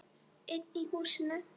Einn í húsinu.